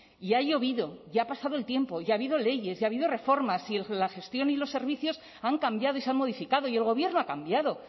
y ha llovido y ha pasado el tiempo y ha habido leyes y ha habido reformas y la gestión y los servicios han cambiado y se han modificado y el gobierno ha cambiado